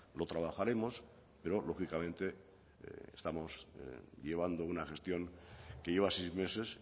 lo trabajaremos pero lógicamente estamos llevando una gestión que lleva seis meses